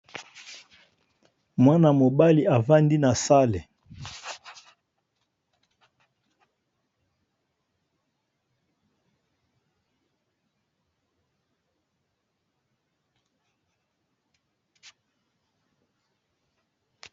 Mwana mobali avandi na sale oyo eza na ba kiti ya mabaya na sima naye eza na batu ebele batelemi.